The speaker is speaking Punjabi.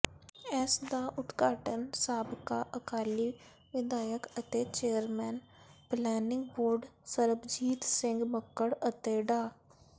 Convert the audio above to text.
ਇਸ ਦਾ ਉਦਘਾਟਨ ਸਾਬਕਾ ਅਕਾਲੀ ਵਿਧਾਇਕ ਅਤੇ chairman planning board Sarabjit Singh Makkar ਅਤੇ ਡਾ